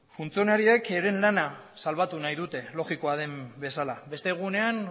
funtzionarioek euren lana salbatu nahi dute logikoa den bezala beste egunean